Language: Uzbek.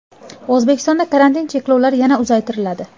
O‘zbekistonda karantin cheklovlari yana uzaytiriladi.